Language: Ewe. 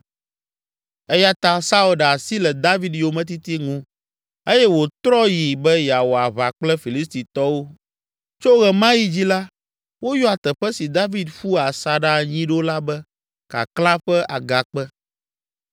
Eya ta Saul ɖe asi le David yometiti ŋu eye wòtrɔ yi be yeawɔ aʋa kple Filistitɔwo. Tso ɣe ma ɣi dzi la, woyɔa teƒe si David ƒu asaɖa anyi ɖo la be “Kaklã ƒe Agakpe.”